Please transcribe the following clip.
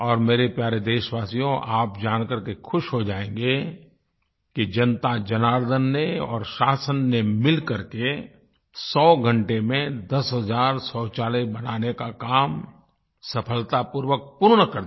और मेरे प्यारे देशवासियो आप जानकर के ख़ुश हो जाएँगे कि जनताजनार्दन ने और शासन ने मिलकर के 100 घंटे में दस हज़ार शौचालय बनाने का काम सफलतापूर्वक पूर्ण कर दिया